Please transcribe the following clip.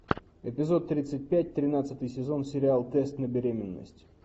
эпизод тридцать пять тринадцатый сезон сериал тест на беременность